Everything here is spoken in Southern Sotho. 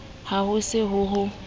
ha ho se ho ho